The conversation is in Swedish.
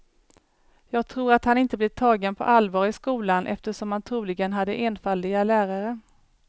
Jag tror att han inte blev tagen på allvar i skolan eftersom han troligen hade enfaldiga lärare.